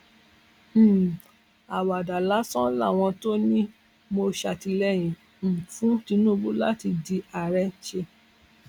um àwàdà lásán làwọn tó ní mò ń ṣàtìlẹyìn um fún tìtùbù láti di àárẹ ń ṣe